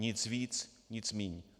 Nic víc, nic míň.